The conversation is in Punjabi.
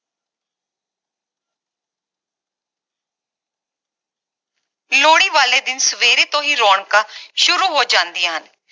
ਲੋਹੜੀ ਵਾਲੇ ਦਿਨ ਸਵੇਰੇ ਤੋਂ ਹੀ ਰੌਣਕਾਂ ਸ਼ੁਰੂ ਹੋ ਜਾਂਦੀਆਂ ਹਨ